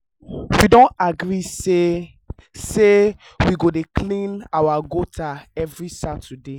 we don agree say say we go dey clean our gutter every saturday